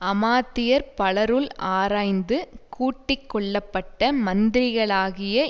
அமாத்தியர் பலருள் ஆராய்ந்து கூட்டி கொள்ள பட்ட மந்திரிகளாகிய